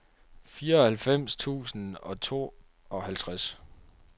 fireoghalvfems tusind og tooghalvtreds